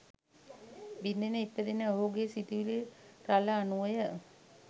බිඳෙන ඉපදෙන ඔහුගේ සි‍තුවිලි රළ අනුවය.